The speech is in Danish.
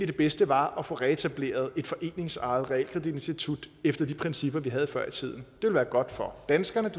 det bedste var at få reetableret et foreningsejet realkreditinstitut efter de principper vi havde før i tiden det ville være godt for danskerne